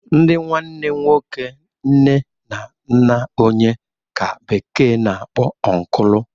Ndị nwanne nwoke nne na nna onye ka bekee na-akpọ ọnklụ